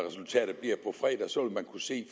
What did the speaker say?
fredag så vil kunne se